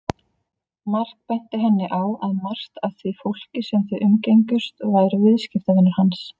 Mark benti henni á að margt af því fólki sem þau umgengjust væru viðskiptavinir hans.